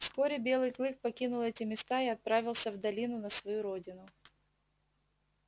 вскоре белый клык покинул эти места и отправился в долину на свою родину